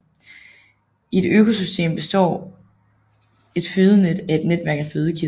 I et økosystem består et fødenet af et netværk af fødekæder